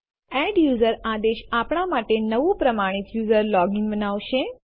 adduser આદેશ આપણા માટે નવું પ્રમાણિત યુઝર લોગીન બનાવશે